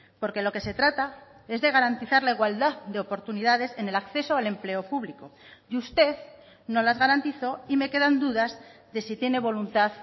porque lo que se trata es de garantizar la igualdad de oportunidades en el acceso al empleo público y usted no las garantizó y me quedan dudas de si tiene voluntad